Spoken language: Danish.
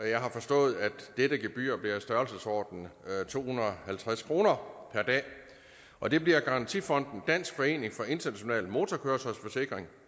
jeg har forstået at dette gebyr bliver i størrelsesordenen to hundrede og halvtreds kroner per dag og det bliver garantifonden dansk forening for international motorkøretøjsforsikring